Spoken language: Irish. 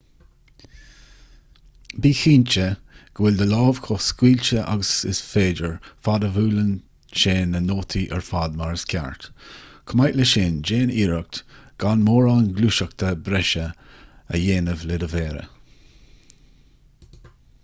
bí cinnte go bhfuil do lámh chomh scaoilte agus is féidir fad a bhuaileann sé na nótaí ar fad mar is ceart chomh maith le sin déan iarracht gan mórán gluaiseachta breise a dhéanamh le do mhéara